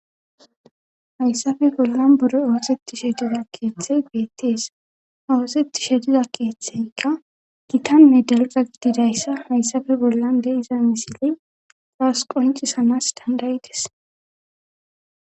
Hayssafe bollan buro awoseti shediza keeththey beettees awosetti shediza keeththeykka gitanne dalga gididayssa hayssafe bollan deiza misile xraas qoncisanas dandayides